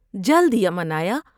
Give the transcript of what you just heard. جلد یمن آیا ۔